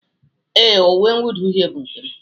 Ee, uwe mwụda uhie bụ nke m